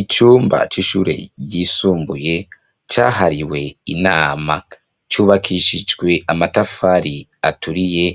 Icumba c'ishure ryisumbuye cahariwe inama, cubakishijwe amatafari aturiye